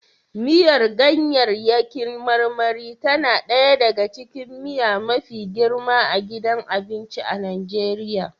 Miyar ganyaryaki marmari tana ɗaya daga cikin miya mafi girma a gidan abinci a Najeriya